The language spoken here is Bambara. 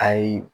Ayi